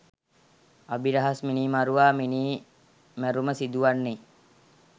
අබිරහස්‌ මිනීමරුවා මිනී මැරුම සිදුවන්නේ